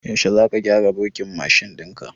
Yaushe za ka gyara burkin mashin ɗin ka?